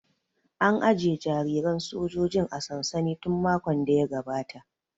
An aje jariran sojojin a sansani tun makon da ya gabata